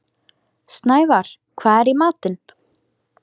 Snævarr, hvað er í matinn?